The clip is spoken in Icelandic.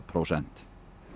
prósent